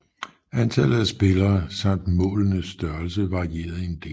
Antallet af spillere samt målenes størrelse varierede en del